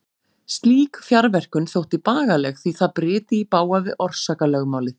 Slík fjarverkun þótti bagaleg því það bryti í bága við orsakalögmálið.